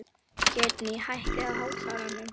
Geirný, hækkaðu í hátalaranum.